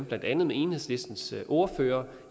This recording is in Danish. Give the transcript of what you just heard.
blandt andet enhedslistens ordfører